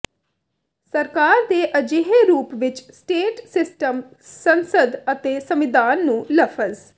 ਸਰਕਾਰ ਦੇ ਅਜਿਹੇ ਰੂਪ ਵਿੱਚ ਸਟੇਟ ਸਿਸਟਮ ਸੰਸਦ ਅਤੇ ਸੰਵਿਧਾਨ ਨੂੰ ਲਫ਼ਜ਼